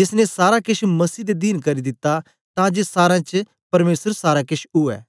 जेस ने सारा केछ मसीह दे दीन करी दित्ता तां जे सारें च परमेसर सारा केछ उवै